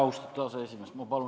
Austatud aseesimees!